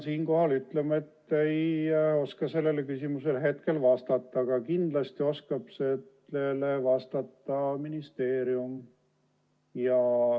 Paraku pean ütlema, et ei oska sellele küsimusele vastata, aga kindlasti oskab sellele vastata ministeerium.